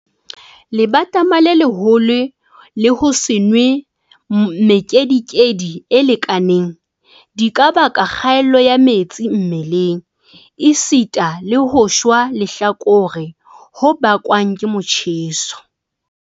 Lebatama le leholo le ho se nwe mekedikedi e lekaneng, di ka baka kgaello ya metsi mmeleng esita le ho shwa lehlakore ho bakwang ke motjheso.